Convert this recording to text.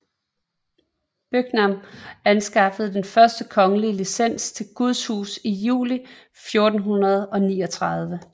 Byngham anskaffede den første kongelige licens til Guds hus i juli 1439